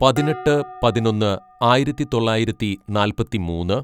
പതിനെട്ട് പതിനൊന്ന് ആയിരത്തിതൊള്ളായിരത്തി നാൽപ്പത്തിമൂന്ന്‌